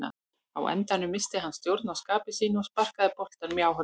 Á endanum missti hann stjórn á skapi sínu og sparkaði boltanum í áhorfendurna.